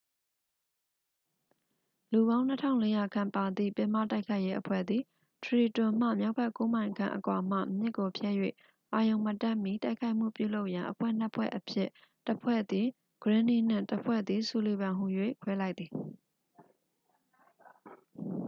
လူပေါင်း 2400 ခန့်ပါသည့် ပင်မတိုက်ခိုက်ရေးအဖွဲ့သည် ထရီတွန်မှ မြောက်ဘက် 9 မိုင်ခန့်အကွာမှ မြစ်ကိုဖြတ်၍ အာရုဏ်မတက်မီ တိုက်ခိုက်မှုပြုလုပ်ရန် အဖွဲ့ 2 ဖွဲ့အဖြစ် တစ် ဖွဲ့သည် ဂရင်းနှီး နှင့် တစ် ဖွဲ့သည် ဆူလီဗန် ဟူ၍ ခွဲလိုက်သည်